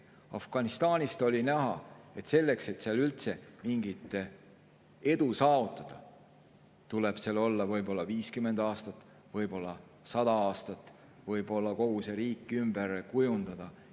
Afganistanist oli näha, et selleks, et seal üldse mingit edu saavutada, tuleb seal olla võib-olla 50 aastat, võib-olla 100 aastat, võib-olla tuleks kogu see riik ümber kujundada.